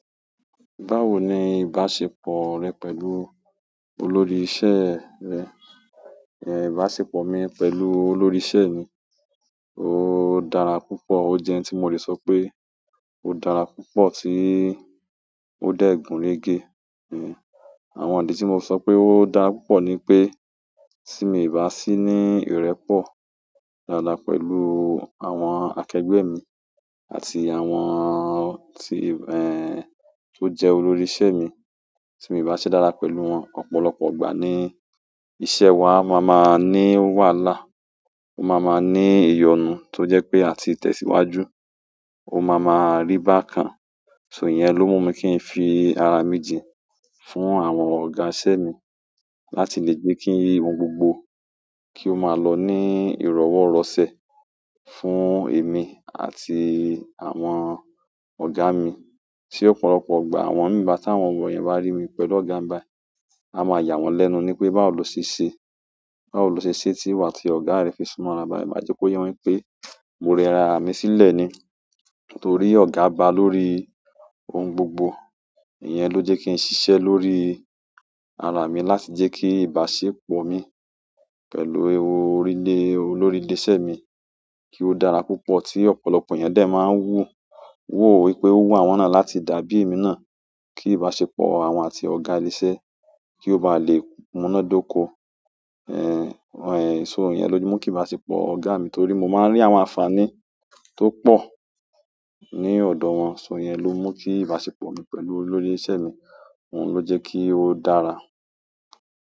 Báwo ni ìbáṣepọ̀ rẹ pẹ̀lú olórí iṣẹ́ rẹ? Ẹ̀ ìbáṣepọ̀ mi pẹ̀lú olórí iṣẹ́ mi, ó dára púpọ̀. Ó jẹ́ ẹni tí mo lè sọ pé ó dára púpọ̀ tí ó dé gún régé. Àwọn ìdí tí mo sọ pé ó dára púpọ̀ ni pé tí mi ìbá sì ní ìrẹ́pọ̀ dáadáa pẹ̀lú àwọn akẹgbẹ́ mi àti àwọn tí ẹ̀, tó jẹ́ olórí iṣẹ́ mi, tí mi ìbá ṣe dáadáa pẹ̀lú wọn, ọ̀pọ̀lọpọ̀ ìgbà ní iṣẹ́ wa máa ma ní wàhálà. Ó máa ma ní ìyọnu tó jẹ́ pé à ti tẹ̀síwájú, ó máa ma rí báa kan. So ìyẹn ló mú mi kí n fi ara mi jin fún àwọn ọ̀gá iṣẹ́ mi láti lè gbé kí ohun gbogbo kí ó máa lọ ní ìrọ̀wọ́-rọ̀sẹ̀ fún èmi àti àwọn ọ̀gá mi. Tí ọ̀pọ̀lọpọ̀ gbà àwọn miì bá táwọn ọmọ yẹn bá rí mi pẹ̀lú ọ̀gá mi báyi, a máa yà wọ́n lẹ́nu nipé báwo lo ṣe ṣe, báwo lo ṣe ṣe tí wà àti ọ̀gá rẹ fi súnmọ́ ara báyi? Má jẹ́ kó yé wọn wípé mo rẹra mi sílẹ̀ ni. Torí ọ̀gá ba lórí ohun gbogbo, ìyẹn ló jẹ́ kí n ṣiṣẹ́ lórí ara mi láti jẹ́ kí ìbáṣepọ̀ mi pẹ̀lú orílẹ̀ olórí ilé iṣẹ́ mi kí ó dára púpọ̀ tí ọ̀pọ̀lọpọ̀ ènìyàn dè máa ń wú wò wípé ó wù àwọn náà láti dàbí èmi náà. Kí ìbáṣepọ̀ àwọn àti ọ̀gá ilé iṣẹ́ kí ó bá lè múnádóko. Ẹ̀, so ìyẹn ló mú kí ìbáṣepọ̀ ọ̀gá mi torí mo máa ń rí àwọn àǹfààní tó pọ̀ ní ọ̀dọ̀ wọn. So ìyẹn ló mú kí ìbáṣepọ̀ mi pẹ̀lú olórí iṣẹ́ mi, òun ló jẹ́ kí ó dára.